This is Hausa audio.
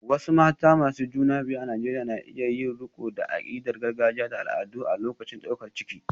Wasu mata masu juna biyu a Najeriya na iya yin riko da akidar gargajiya da al'adu a lokacin daukar ciki.